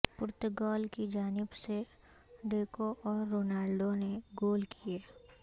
پرتگال کی جانب سے ڈیکو اور رونالڈو نے گول کیئے